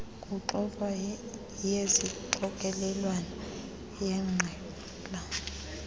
kuxoxwa yesixokelelwano yeqela